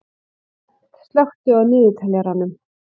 Bent, slökktu á niðurteljaranum.